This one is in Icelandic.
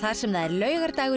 sem það er laugardagur